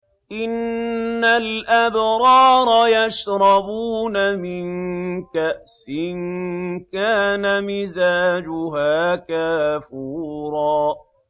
إِنَّ الْأَبْرَارَ يَشْرَبُونَ مِن كَأْسٍ كَانَ مِزَاجُهَا كَافُورًا